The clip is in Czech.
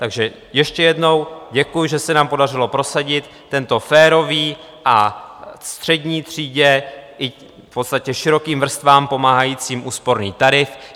Takže ještě jednou: děkuji, že se nám podařilo prosadit tento férový a střední třídě i v podstatě širokým vrstvám pomáhající úsporný tarif.